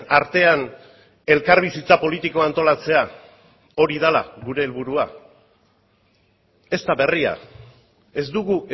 artean elkarbizitza politikoa antolatzea hori dela gure helburua ez da berria ez dugu